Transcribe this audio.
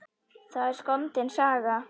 Það er skondin saga.